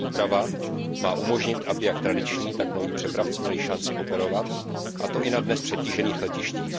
Tato úprava má umožnit, aby jak tradiční, tak noví přepravci měli šanci operovat, a to i na dnes přetížených letištích.